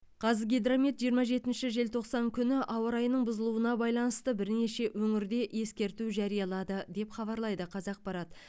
қазгидромет жиырма жетінші желтоқсан күні ауа райының бұзылуына байланысты бірнеше өңірде ескерту жариялады деп хабарлайды қазақпарат